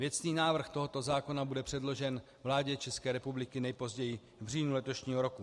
Věcný návrh tohoto zákona bude předložen vládě České republiky nejpozději v říjnu letošního roku.